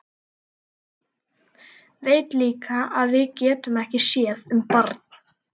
Veit líka að við getum ekki séð um barn.